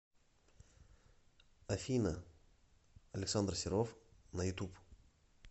афина александр серов на ютуб